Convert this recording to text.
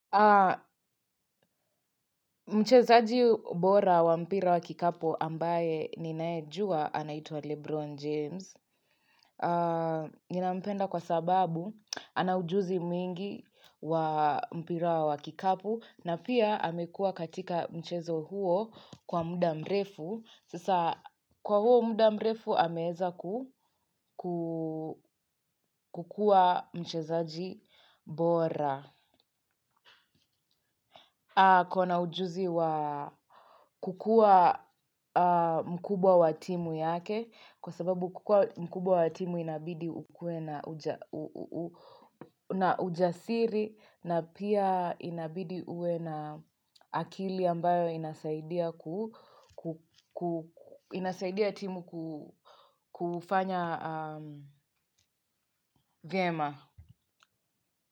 Mchezaji bora wa mpira wa kikapu ambaye ninaye jua anaitwa Lebron James. Ninampenda kwa sababu anaujuzi mwingi wa mpira wa kikapu. Na pia amekua katika mchezo huo kwa mda mrefu. Sasa kwa huo muda mrefu ameeza kukua mchezaji bora akona ujuzi wa kukua mkubwa wa timu yake kwa sababu kukua mkubwa wa timu inabidi ukue na ujasiri na pia inabidi uwe na akili ambayo inasaidia ku inasaidia timu kufanya vyema.